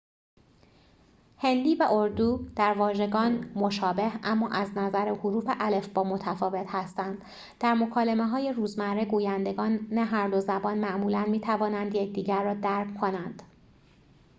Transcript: هندی و اردو در واژگان مشابه اما از نظر حروف الفبا متفاوت هستند در مکالمه‌های روزمره گویندگان هر دو زبان معمولاً می‌توانند یکدیگر را درک کنند